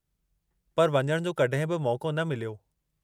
पर वञणु जो कॾहिं बि मौक़ो न मिलियो।